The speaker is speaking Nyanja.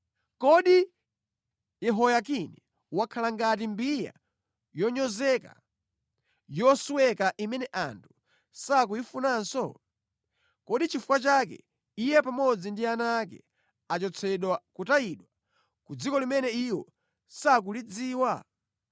Kodi Yehoyakini wakhala ngati mbiya yonyozeka, yosweka imene anthu sakuyifunanso? Kodi nʼchifukwa chake iye pamodzi ndi ana ake, achotsedwa nʼkutayidwa ku dziko limene iwo sakulidziwa?